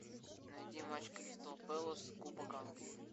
найди матч кристал пэлас кубок англии